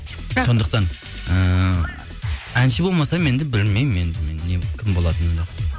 сондықтан ыыы әнші болмасам енді білмеймін енді мен кім болатынымды